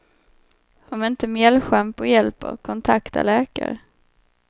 Om inte mjällschampo hjälper, kontakta läkare.